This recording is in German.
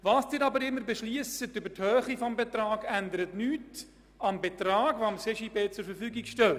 Was Sie aber auch immer über die Höhe dieses Betrags beschliessen, ändert nichts am Betrag, der dem CJB zur Verfügung steht.